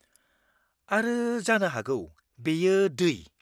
-आरो जानो हागौ बेयो दै?